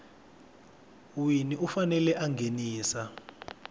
wini u fanele a nghenisa